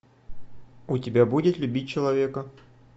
у тебя будет любить человека